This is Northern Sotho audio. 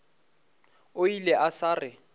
o ile a sa re